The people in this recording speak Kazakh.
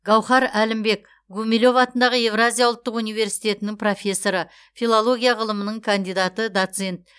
гауһар әлімбек гумилев атындағы еуразия ұлттық университеті профессоры филология ғылымының кандидаты доцент